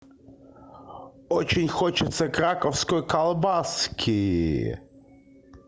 очень хочется краковской колбаски